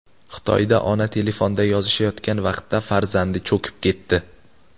Xitoyda ona telefonda yozishayotgan vaqtda farzandi cho‘kib ketdi .